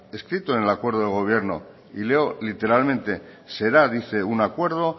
escrito en el acuerdo de gobierno y leo literalmente será dice un acuerdo